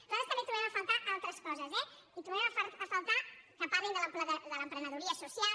nosaltres també trobem a faltar altres coses eh hi trobem a faltar que parlin de l’emprenedoria social